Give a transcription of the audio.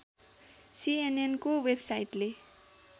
सीएनएनको वेबसाइटले